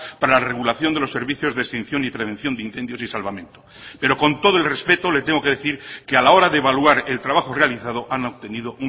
para la regulación de los servicios de extinción y prevención de incendios y salvamento pero con todo el respeto le tengo que decir que a la hora de evaluar el trabajo realizado han obtenido